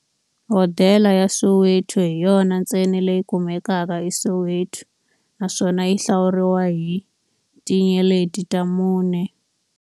Hodela ya Soweto hi yona ntsena leyi kumekaka eSoweto, naswona yi hlawuriwa hi tinyeleti ta mune.